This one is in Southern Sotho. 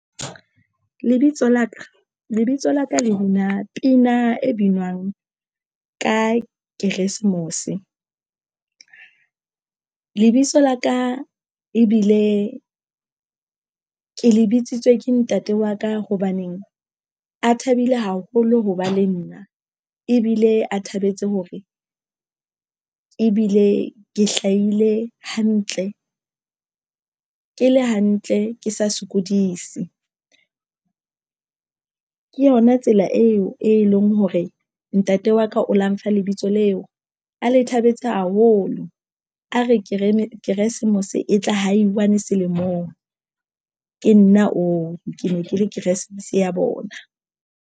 Lebitso la ka le bina pina e binwang ka Christmas. Lebitso la ka ebile ke le bitsitswe ke ntate wa ka hobaneng a thabile haholo ho ba le nna ebile a thabetse hore ebile ke hlahile hantle. Ke le hantle ke sa sokodise, ke yona tsela eo e leng hore ntate wa ka o la mpha lebitso leo a le thabetse haholo. A re Keresmese, Keresemose e tla ha one selemong ke nna oo ke ne ke le Keresemese ya bona.